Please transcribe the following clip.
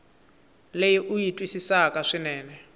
leyi u yi twisisaka swinene